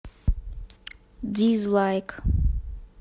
дизлайк